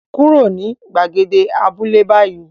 Kúrò ní gbàgede abúlé báyìí